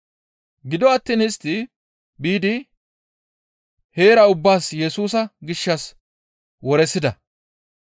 Gido attiin istti biidi heera ubbason Yesusa gishshas woresida.